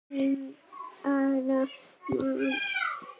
Um ungan mann.